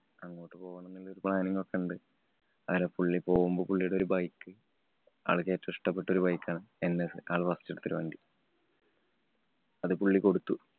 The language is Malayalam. അങ്ങോട്ട് പോണം എന്നുള്ള planning ഒക്കെ ഉണ്ട്. അങ്ങനെ പുള്ളി പോകുമ്പോൾ പുള്ളീടെ ഒരു bike ആള്‍ക്ക് ഏറ്റവും ഇഷ്ടപ്പെട്ട ഒരു bike ആണ് NS ആള് first എടുത്തൊരു വണ്ടി അത് പുള്ളി കൊടുത്തു.